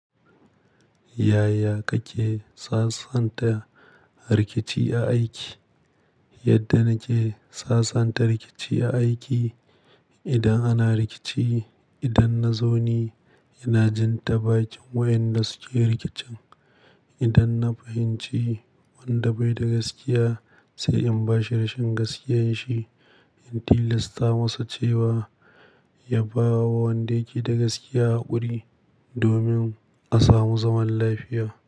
Yaya kake sasanta rikici a aiki? Yadda nake sasanta rikici a aiki, idan ana rikici, idan na zo ni, ina jinta bakin wayanda suke rikicin. Idan na fahimci wanda bai da gaskiya sai in bashi rashin gaskiyan shi. In tilasta masa cewa ya bawa wanda yake da gaskiya haƙuri domin a samu zaman lafiya.